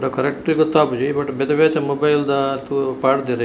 ಪಂಡ ಕರೆಕ್ಟ್ ಗೊತ್ತಾಪುಜಿ ಬಟ್ ಬೆತೆ ಬೇತೆ ಮೊಬೈಲ್ ದ ತೂ ಪಾಡ್ದೆರ್ --